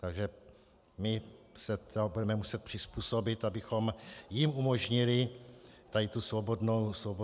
Takže my se tomu budeme muset přizpůsobit, abychom jim umožnili tady tu svobodnou volbu.